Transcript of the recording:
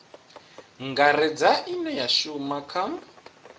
ngaredza ine ya shuma kha